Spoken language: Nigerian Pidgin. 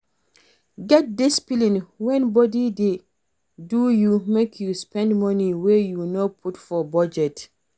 Get discipline when body dey do you make you spend money wey you no put for budget